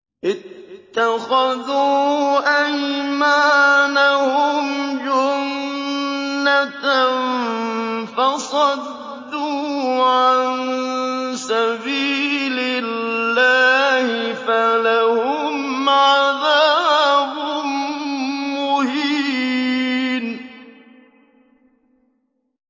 اتَّخَذُوا أَيْمَانَهُمْ جُنَّةً فَصَدُّوا عَن سَبِيلِ اللَّهِ فَلَهُمْ عَذَابٌ مُّهِينٌ